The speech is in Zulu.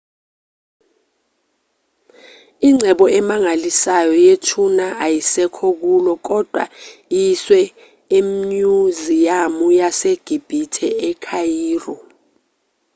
ingcebo emangalisayo yethuna ayisekho kulo kodwa iyiswe emnyuziyamu yasegibhithe e-khayiro